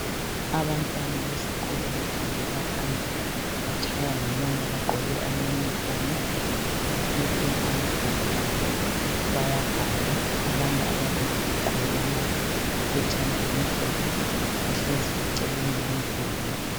Abantwana besikolo bafundela phandle batshaywa ngumoya bagqoke amaYunifomu baphethe amabhuku abo bayabhala abanye ababili baqhubelana iphetshana elimhlophe bahlezi eceleni komduli.